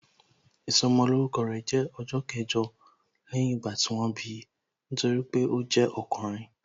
Ìsọmolórúkọ rẹ̀ jẹ́ ọjọ́ kẹjọ lẹ́yìn ìgbà tí wọ́n bi, nítorí pé ó jẹ́ ọkùnrin